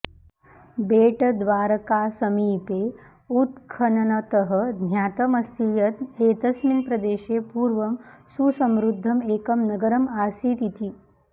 बेटद्वारकासमीपे उत्खननतः ज्ञातम् अस्ति यत् एतस्मिन् प्रदेशे पूर्वं सुसमृद्धम् एकं नगरम् आसीत् इति